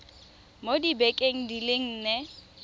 mo dibekeng di le nne